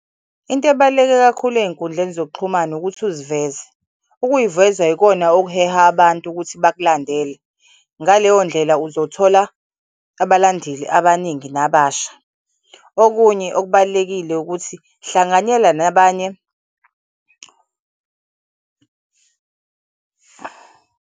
Into ebaluleke kakhulu ey'nkundleni zokuxhumana ukuthi uziveze. Ukuyiveza yikona okuheha abantu ukuthi bakulandele, ngaleyo ndlela uzothola abalandeli abaningi nababasha. Okunye okubalulekile ukuthi hlanganyela nabanye.